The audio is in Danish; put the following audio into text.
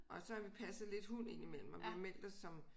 Og så har vi passet lidt hund ind imellem og vi har meldt os som